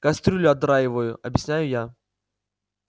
кастрюли отдраиваю объясняю я